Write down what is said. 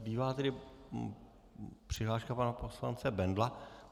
Zbývá tedy přihláška pana poslance Bendla.